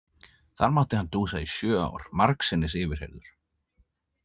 Þar mátti hann dúsa í sjö ár, margsinnis yfirheyrður.